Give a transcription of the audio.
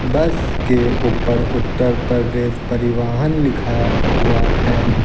बस के ऊपर उत्तर प्रदेश परिवहन लिखा हुआ है।